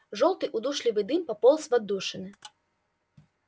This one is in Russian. жёлтый удушливый дым пополз в отдушины